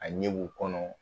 A ɲɛ b'u kɔnɔ